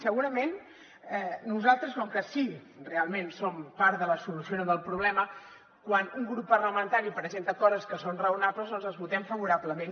segurament nosaltres com que sí realment som part de la solució no del problema quan un grup parlamentari presenta coses que són raonables doncs les votem favorablement